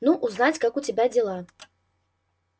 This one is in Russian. ну узнать как у тебя дела